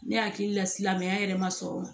Ne hakili la silamɛya yɛrɛ ma sɔrɔ o ma